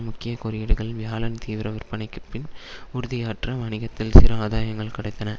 முக்கிய குறியீடுகள் வியாழன் தீவிரவிற்பனைக்கு பின் உறுதியற்ற வணிகத்தில் சிறு ஆதாயங்கள் கிடைத்தன